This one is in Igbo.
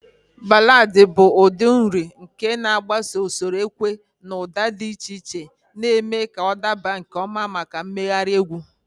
Ballad bụ ụdị uri nke na-agbaso usoro ukwe na ụda dị iche iche, na-eme ka ọ dabara nke ọma maka mmegharị egwu.